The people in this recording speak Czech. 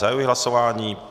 Zahajuji hlasování.